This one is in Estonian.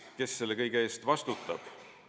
Kes selle kõige eest vastutab?